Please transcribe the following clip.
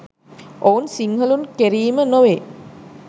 ඔවුන් සිංහලුන් කෙරීම නොවේ.